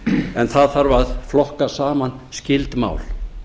en það þarf að flokka saman skyld mál